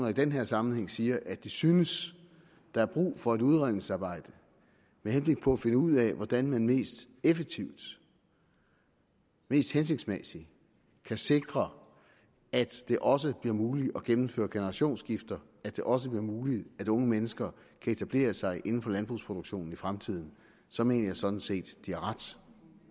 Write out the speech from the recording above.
i den her sammenhæng siger at de synes der er brug for et udredningsarbejde med henblik på at finde ud af hvordan man mest effektivt mest hensigtsmæssigt kan sikre at det også bliver muligt at gennemføre generationsskifter at det også bliver muligt at unge mennesker kan etablere sig inden for landbrugsproduktionen i fremtiden så mener jeg sådan set de har ret